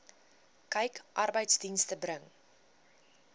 kyk arbeidsdienste bring